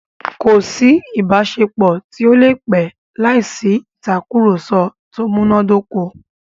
Kò sí ìbáṣepọ̀ tó lè pẹ́ láìsí ìtàkurọ̀sọ tó múná dóko.